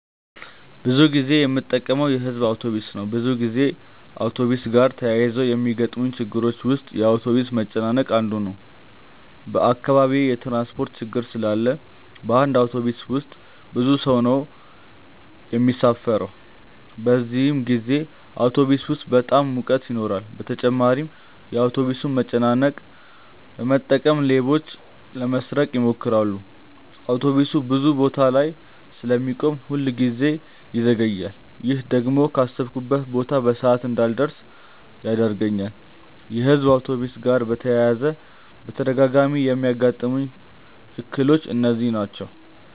ብዙ ጊዜ የምጠቀመው የሕዝብ አውቶብስ ነው። ብዙ ጊዜ አውቶብስ ጋር ተያይዞ ከሚገጥሙኝ ችግሮች ውስጥ የአውቶብስ መጨናነቅ አንዱ ነው። በአካባቢዬ የትራንስፖርት ችግር ስላለ በአንድ አውቶብስ ውስጥ ብዙ ሰው ነው የሚሳፈረው። በዚህን ጊዜ አውቶብስ ውስጥ በጣም ሙቀት ይኖራል በተጨማሪም የአውቶብሱን መጨናነቅ በመጠቀም ሌቦች ለመስረቅ ይሞክራሉ። አውቶብሱ ብዙ ቦታ ላይ ስለሚቆም ሁል ጊዜ ይዘገያል። ይሄ ደግሞ ካሰብኩበት ቦታ በሰዓት እንዳልደርስ ያደርገኛል። የሕዝብ አውቶብስ ጋር በተያያዘ በተደጋጋሚ የሚያጋጥሙኝ እክሎች እነዚህ ናቸው።